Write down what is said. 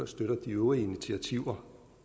støtter de øvrige initiativer